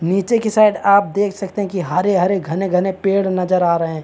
निचे की साइड आप देख सकते है कि हरे -रे घने-घने पेड़ नज़र आ रहै है।